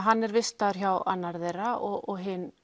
hann er vistaður hjá annarri þeirra og hin